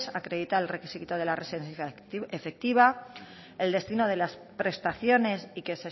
acreditar el requisito de la residencia efectiva el destino de las prestaciones y que